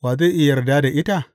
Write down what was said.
Wa zai iya yarda da ita?